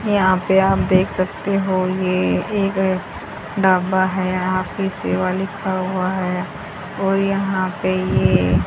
यहां पे आप देख सकते हो ये एक ढाबा है यहां पे सेवा लिखा हुआ है और यहां पे ये --